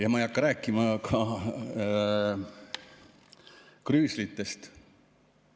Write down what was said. Ja ma ei hakka rääkima ka krüüslitest.